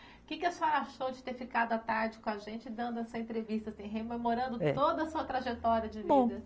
Que que a senhora achou de ter ficado à tarde com a gente dando essa entrevista assim, rememorando toda a sua trajetória de vida?